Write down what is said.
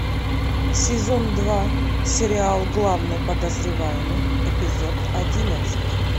сезон два сериал главный подозреваемый эпизод одиннадцать